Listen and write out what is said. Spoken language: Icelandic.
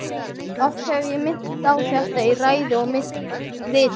Oft hef ég minnt á þetta í ræðu og riti.